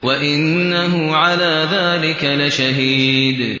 وَإِنَّهُ عَلَىٰ ذَٰلِكَ لَشَهِيدٌ